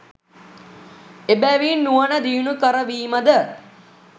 එබැවින් නුවණ දියුණු කරවීම ද